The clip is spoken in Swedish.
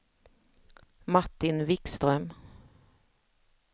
Martin Vikström